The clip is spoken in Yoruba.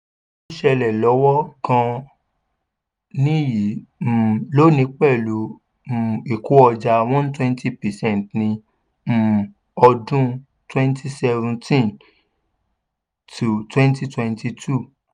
ó ṣẹlẹ̀ lọ́wọ́ gan-an nìyí um lónìí pẹ̀lú um ìkó ọjà one twenty percent ní um ọdún twenty seventeen-twenty twenty two